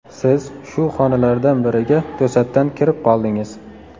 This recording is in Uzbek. Siz shu xonalardan biriga to‘satdan kirib qoldingiz.